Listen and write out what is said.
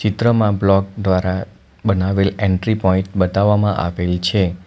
ચિત્રમાં બ્લોક દ્વારા બનાવેલ એન્ટ્રી પોઇન્ટ બતાવવામાં આવેલ છે.